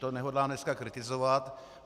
To nehodlám dneska kritizovat.